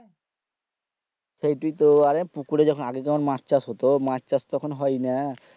সেই তুই তো অরে পুকুরে যেখানে আগে যখন মাছ চাষ হতো মাছ চাষ তো এখন হয় না